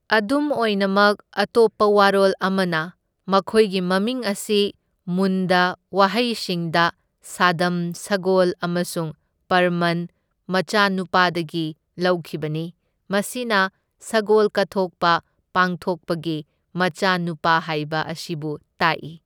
ꯑꯗꯨꯝ ꯑꯣꯏꯅꯃꯛ ꯑꯇꯣꯞꯄ ꯋꯥꯔꯣꯜ ꯑꯃꯅ ꯃꯈꯣꯏꯒꯤ ꯃꯃꯤꯡ ꯑꯁꯤ ꯃꯨꯟꯗ ꯋꯥꯍꯩꯁꯤꯡꯗ ꯁꯥꯗꯝ ꯁꯒꯣꯜ ꯑꯃꯁꯨꯡ ꯍꯔꯄꯟ ꯃꯆꯥꯅꯨꯄꯥꯗꯒꯤ ꯂꯧꯈꯤꯕꯅꯤ, ꯃꯁꯤꯅ ꯁꯒꯣꯜ ꯀꯠꯊꯣꯛꯄ ꯄꯥꯡꯊꯣꯛꯄꯒꯤ ꯃꯆꯥꯅꯨꯄꯥ ꯍꯥꯏꯕ ꯑꯁꯤꯕꯨ ꯇꯥꯛꯏ꯫